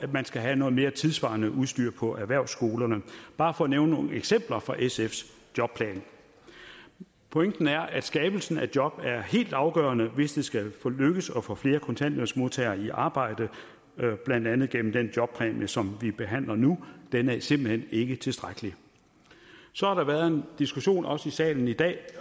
man skal have noget mere tidssvarende udstyr på erhvervsskolerne bare for at nævne nogle eksempler fra sfs jobplan pointen er at skabelsen af job er helt afgørende hvis det skal lykkes at få flere kontanthjælpsmodtagere i arbejde blandt andet gennem den jobpræmie som vi behandler nu den er simpelt hen ikke tilstrækkelig så har der været en diskussion også i salen i dag